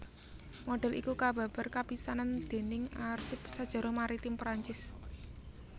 Modhél iki kababar kapisanan dèning arsip sajarah maritim Prancis